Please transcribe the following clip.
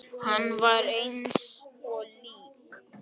Hann var eins og lík.